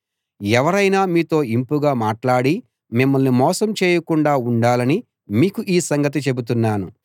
ఎవరైనా మీతో ఇంపుగా మాట్లాడి మిమ్మల్ని మోసం చేయకుండా ఉండాలని మీకు ఈ సంగతి చెబుతున్నాను